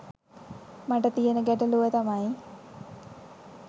මට තියන ගැටලුව තමයි